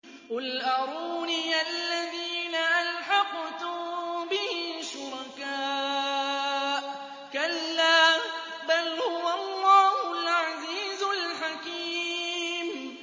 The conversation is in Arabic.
قُلْ أَرُونِيَ الَّذِينَ أَلْحَقْتُم بِهِ شُرَكَاءَ ۖ كَلَّا ۚ بَلْ هُوَ اللَّهُ الْعَزِيزُ الْحَكِيمُ